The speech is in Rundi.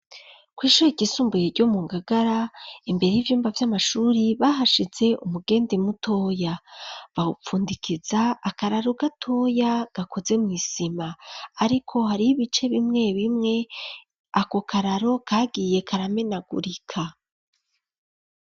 Kw'ishuri ryisumbuye ryo mu Ngagara, imbere y'ivyumba vy'amashuri bahashize umugende mutoya, bawupfundikiza akararo gatoya gakoze mw'isima ,ariko hari ibice bimwe bimwe ako kararo kagiye karamenagurika.